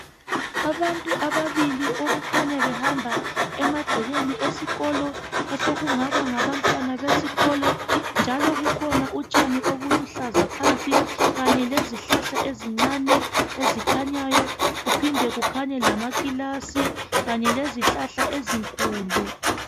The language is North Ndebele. Abantu ababili okukhanya behamba emagcekeni esikolo osokungaba ngabantwana besikolo njalo kukhona utshani obuluhlaza phansi kanye lezihlahla ezincane ezikhanyayo kuphinde kukhanye lamakilasi kanye lezihlahla ezinkulu.